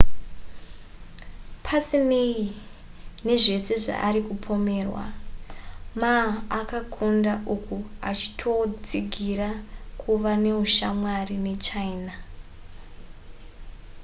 pasinei nezvese zvaari kupomerwa, ma akakunda uku aachitotsigira kuva neushamwari nechina